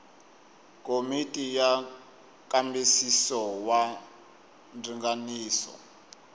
komiti ya nkambisiso wa ndzinganiso